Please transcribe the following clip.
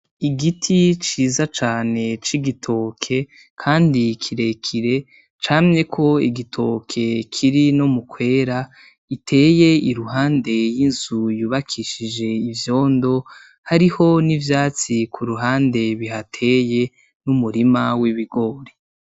Igiti ciza cane c'igitoke Kandi kirekire camyeko igitoke kiri no mukwera giteye iruhande yinzu yubakishije ivyondo hariho n'ivyatsi kuruhande bihateye numurima w'ibigori.